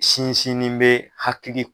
Sinsinnen bɛ hakili